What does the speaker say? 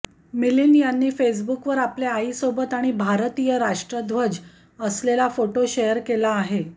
मिलिंद यांनी फेसबुकवर आपल्या आईसोबत आणि भारतीय राष्ट्रध्वज असलेला फोटो शेअर केला आहे